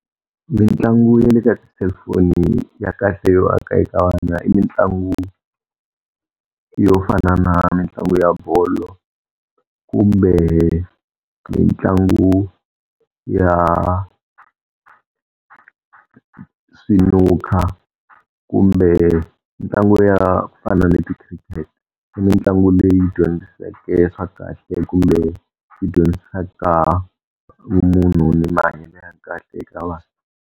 Mitlangu ya le ka tiselufoni ya kahle yo aka eka vana i mitlangu yo fana na mitlangu ya bolo, kumbe mitlangu ya swinukha kumbe mitlangu ya ku fana ni ti-cricket. Mitlangu leyi dyondziseke swa kahle kumbe yi dyondzisaka vumunhu ni mahanyele ya kahle eka vana..